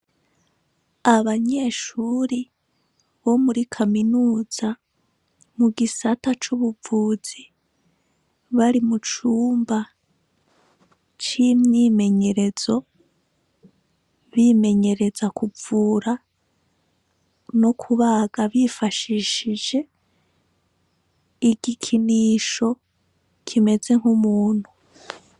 Abanyeshuri bo muri kaminuza mu gisata c'ubuvuzi bari mu cumba c'imyimenyerezo bimenyereza kuvura no kubaga bifashishije igikinisho kimeze nk'umuntu.